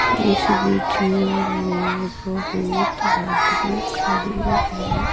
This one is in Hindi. इस वीडियो में बहुत आदमी खड़े हैं।